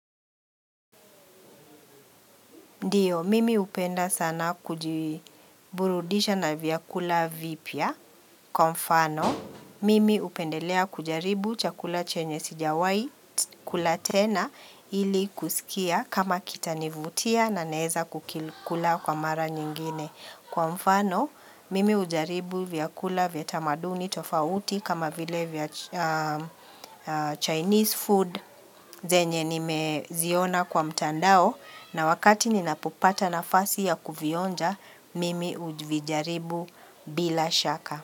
Ndiyo, mimi hupenda sana kujiburudisha na vyakula vipya. Kwa mfano, mimi hupendelea kujaribu chakula chenye sijawahi kula tena ili kusikia kama kitanivutia na naeza kukikula kwa mara nyingine. Kwa mfano, mimi hujaribu vyakula vya tamaduni tofauti kama vile vya Chinese food zenye nimeziona kwa mtandao. Na wakati ninapopata nafasi ya kuvionja mimi uvijaribu bila shaka.